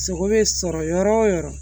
Sogo bɛ sɔrɔ yɔrɔ o yɔrɔ